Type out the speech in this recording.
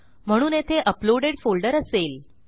म्हणून येथे uploaded folder असेल